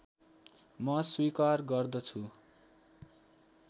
म स्वीकार गर्दछु